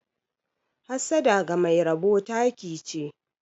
Hassada ga Mai rabo taki che.